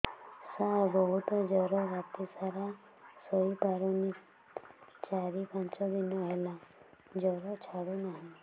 ସାର ବହୁତ ଜର ରାତି ସାରା ଶୋଇପାରୁନି ଚାରି ପାଞ୍ଚ ଦିନ ହେଲା ଜର ଛାଡ଼ୁ ନାହିଁ